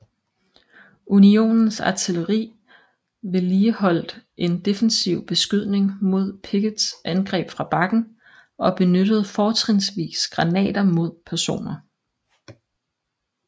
Unionens artilleri vedligeholdt en defensiv beskydning mod Picketts angreb fra bakken og benyttede fortrinsvis granater mod peroner